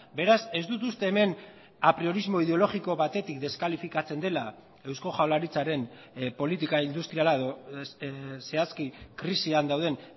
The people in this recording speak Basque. beraz ez dut uste hemen apriorismo ideologiko batetik deskalifikatzen dela eusko jaurlaritzaren politika industriala edo zehazki krisian dauden